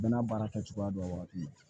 Bɛɛ n'a baara kɛ cogoya dɔ wagati